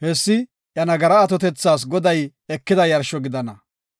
Hessi iya nagara atotethas Goday ekida yarsho gidana.